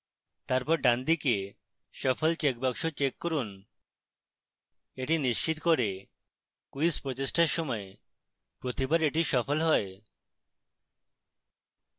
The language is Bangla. তারপর ডানদিকে shuffle checkbox check করুন এটি নিশ্চিত করে quiz প্রচেষ্টার সময় প্রতিবার এটি suffle হয়